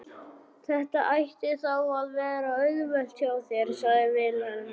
Þetta ætti þá að vera auðvelt hjá þér, sagði Vilhelm.